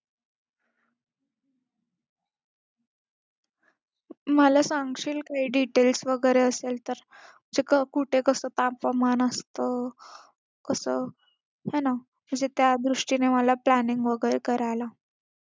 मला सांगशील काही details वगैरे असेल तर कुठे कसं तापमान असतं कसं हे ना म्हणजे त्या दृष्टीने मला planning वगैरे करायला,